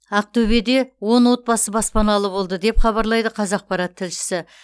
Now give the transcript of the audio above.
ақтөбеде он отбасы баспаналы болды деп хабарлайды қазақпарат тілшісі